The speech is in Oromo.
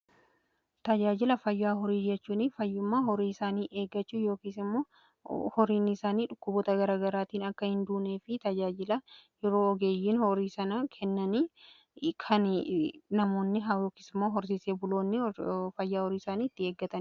Tajaajila fayyaa horii jechuun fayyummaa horiiisaanii eegachuu yoo horiinsaanii dhukkuboota garagaraatiin akka hinduunee fi tajaajila yeroo ogeeyyiin horii sana kennanii kan namoonni haa yookis immoo horsiisee buloonni fayyaa horii isaanii itti eegatan